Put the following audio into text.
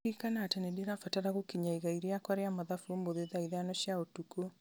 ririkana atĩ nĩ ndĩrabatara gũkinyia igai rĩakwa rĩa mathabu ũmũthĩ thaa ithano cia ũtukũ